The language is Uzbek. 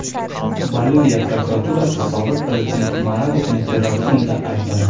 Boliviya prokuraturasi sobiq prezident Moralesni terrorizmda aybladi.